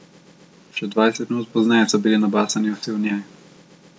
Še dvajset minut pozneje so bili nabasani vsi v njej.